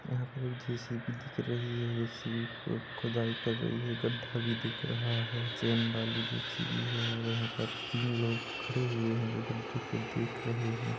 यहाँ पर एक जे. सी. बी. दिख रही है जे. सी. बी. खुदाई कर रही है गड्ढा भी दिखा रहा है चेन बाली जे. सी. बी. है और यहाँ पर तीन लोग खड़े हुए है जो गड्ढे को देख रहे है।